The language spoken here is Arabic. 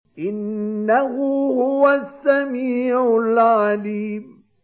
إِنَّهُ هُوَ السَّمِيعُ الْعَلِيمُ